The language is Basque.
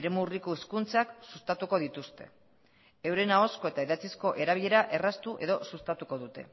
eremu urriko hizkuntzak sustatuko dituzte euren ahozko eta idatzizko erabilera erraztu edo sustatuko dute